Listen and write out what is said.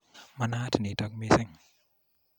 Manaat nitok missing'.